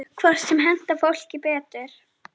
Hvort sem henti fólki betur.